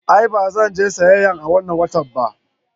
A'a, ba zan je siyayya a wannan watan ba.